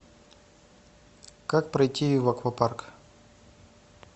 как пройти в аквапарк